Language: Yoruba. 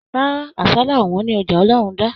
Rárá, àsálà o wọn ni ọjà Olorunda